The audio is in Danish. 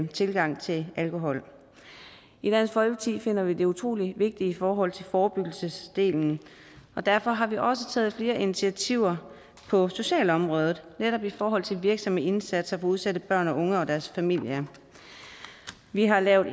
tilgang til alkohol i dansk folkeparti finder vi det utrolig vigtigt i forhold til forebyggelsesdelen og derfor har vi også taget flere initiativer på socialområdet netop i forhold til virksomme indsatser for udsatte børn og unge og deres familie vi har lavet